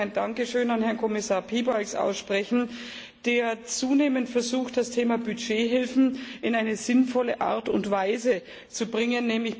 Ich möchte aber auch ein Dankeschön an Herrn Kommissar Piebalgs aussprechen, der zunehmend versucht, das Thema Budgethilfen in einer sinnvollen Art und Weise zu regeln.